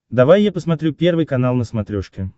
давай я посмотрю первый канал на смотрешке